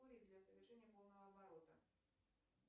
для совершения полного оборота